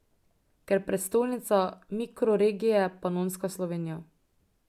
Ker prestolnica mikroregije Panonska Slovenija.